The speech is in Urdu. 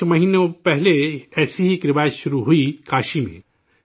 کچھ مہینے پہلے ایسی ہی ایک روایت شروع ہوئی کاشی میں